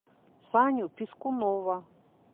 саню пискунова